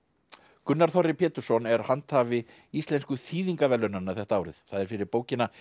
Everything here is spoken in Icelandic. Gunnar Þorri Pétursson er handhafi Íslensku þýðingaverðlaunanna þetta árið það er fyrir bókina